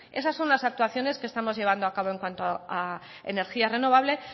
bueno esas son las actuaciones que estamos llevando a cabo en cuanto a energía renovable